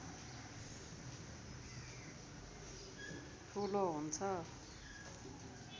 ठुलो हुन्छ